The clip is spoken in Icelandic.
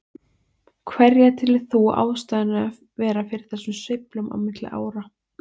Hverja telur þú ástæðuna vera fyrir þessum sveiflum á milli ára?